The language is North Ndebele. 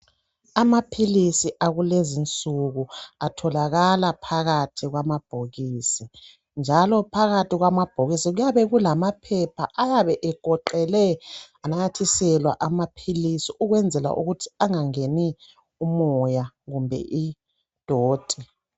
Amaphilisi akulezinsuku atholakala phakathi kwamabhokisi. Njalo phakathi kwamabhokisi kuyabe kulamaphepha ayabe egoqelwe ananyathiselwa amaphilisi ukwenzela ukuthi angangeni umoya kumbe idoti.